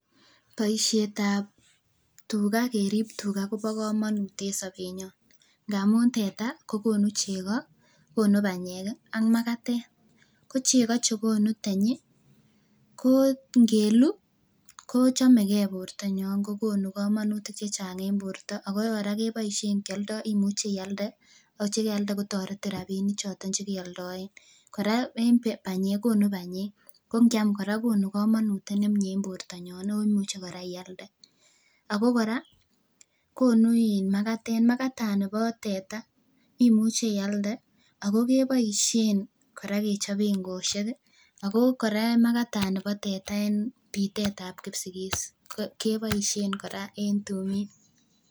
Boishetab tukaa kerib tukaa kobokomonut en sobenyon ng'amun teta kokonu chekoo, konu banyek ak makatet, ko cheko chekonu tanyi ko ng'elu kochomeke bortanyon kokonu komonutik chechang en borto ak ko kora keboishon kioldo imuche ialde, yoche yeialde kotoretin rabinichoton chekeoldoen, kora en banyek kokonu banyek, ko ng'iam kora kokonu komonut nemnye en bortanyon omuche kora ialde ak ko kora konu iin makatet, makatani bo teta imuche ialde ak ko keboishen kora kechoben kwoshek ak ko kora makatani boo teta en bitetab kipsigis keboishen kora en tumin.